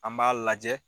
An b'a lajɛ